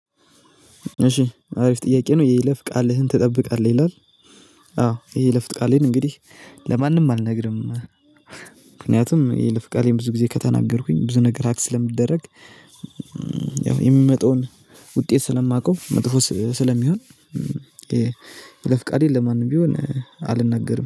እሺ አሪፍ ጥያቄ ነው የይለፍ ቃልህን ትጠብቃለህ ይላል? አዎ የይለፍ ቃሌን እንግዲህ ለማንም አልነግርም። ምክንያቱም የይለፍ ቃሌን ብዙ ግዜ ከተናገርኩኝ ብዙ ነገር ሀክ ስለምደረግ ያው የሚመጣውን ውጤት ስለማውቀው መጥፎ ስለሚሆን። የይለፍ ቃሌን ለማንም ቢሆን አልናገርም